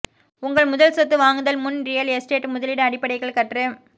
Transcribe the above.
உங்கள் முதல் சொத்து வாங்குதல் முன் ரியல் எஸ்டேட் முதலீடு அடிப்படைகள் கற்று